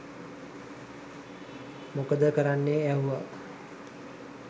මොකද කරන්නේ ඇහුව